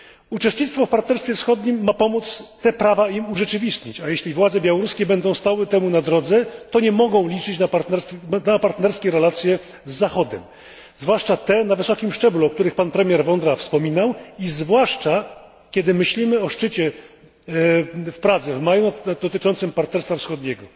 Uczestnictwo w partnerstwie wschodnim ma pomóc im te prawa urzeczywistnić, a jeśli władze białoruskie będą stały temu na drodze, to nie mogą liczyć na partnerskie relacje z Zachodem, zwłaszcza te na wysokim szczeblu, o których pan premier Vondra wspominał i zwłaszcza, kiedy myślimy o szczycie w Pradze w maju, dotyczącym partnerstwa wschodniego.